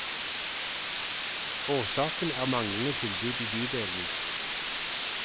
Årsaken er manglende tilbud i bydelene.